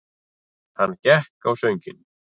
Hann gekk á sönginn.